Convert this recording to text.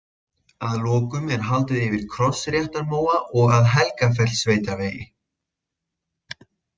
Að lokum er haldið yfir Krossréttarmóa og að Helgafellssveitarvegi.